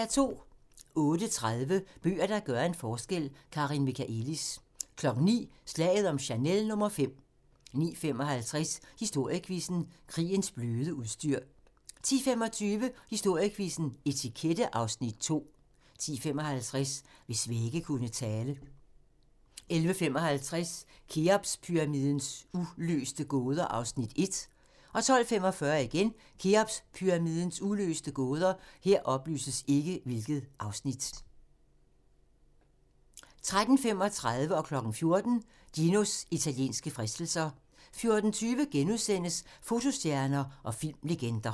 08:30: Bøger, der gør en forskel – Karin Michaëlis 09:00: Slaget om Chanel no. 5 09:55: Historiequizzen: Krigens bløde udstyr 10:25: Historiequizzen: Etikette (Afs. 2) 10:55: Hvis vægge kunne tale 11:55: Kheopspyramidens uløste gåder (Afs. 1) 12:45: Kheopspyramidens uløste gåder 13:35: Ginos italienske fristelser 14:00: Ginos italienske fristelser 14:20: Fotostjerner og filmlegender *